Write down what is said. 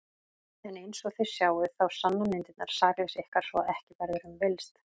En einsog þið sjáið þá sanna myndirnar sakleysi ykkar svo að ekki verður um villst.